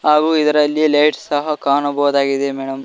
ಹಾಗು ಇದರಲ್ಲಿ ಲೇಟ್ ಸಹ ಕಾಣಬಹುದಾಗಿದೆ ಮೇಡಂ .